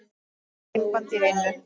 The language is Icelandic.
Eitt límband í einu.